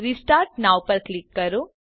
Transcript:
restart now પર click કરો